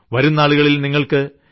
വരുംനാളുകളിൽ നിങ്ങൾക്ക് ടി